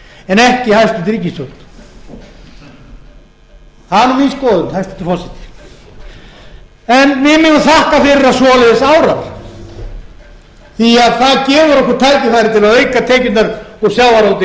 ríkisstjórn það er nú mín skoðun hæstvirtur forseti en við megum þakka fyrir að svoleiðis árar því það gefur okkur tækifæri til að auka tekjurnar úr sjávarútvegi